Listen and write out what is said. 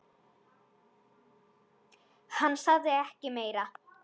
Hann sagði ekki meira.